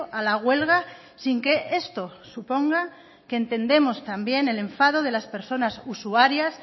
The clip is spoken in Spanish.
a la huelga sin que esto suponga que entendemos también el enfado de las personas usuarias